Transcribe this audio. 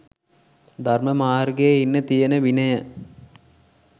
ධර්ම මාර්ගයේ ඉන්න තියෙන විනය